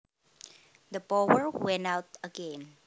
The power went out again